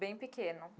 Bem pequeno.